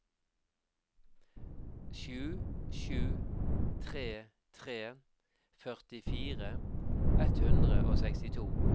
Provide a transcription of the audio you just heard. sju sju tre tre førtifire ett hundre og sekstito